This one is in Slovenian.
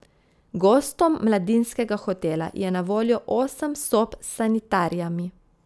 Gostom mladinskega hotela je na voljo osem sob s sanitarijami.